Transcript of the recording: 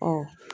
Ɔ